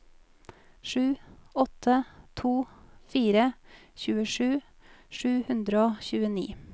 sju åtte to fire tjuesju sju hundre og tjueni